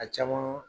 A caman